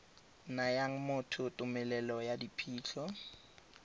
nayang motho tumelelo ya phitlho